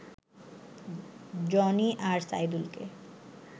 Johnny আর সাইদুলকে